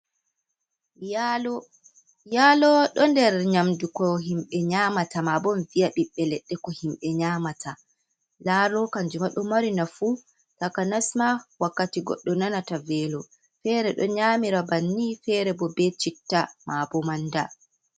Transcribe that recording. Yalo ɗo nder nyamdu ko himɓe nyamata maa bo mi viya ɓiɓɓe leɗɗe ko himɓe nyamata. Yalo kanjum ma ɗo mari nafu takanas maa wakkati goɗɗo nanata velo. Fere ɗo nyamira bannin, fere bo be citta, maa bo manda.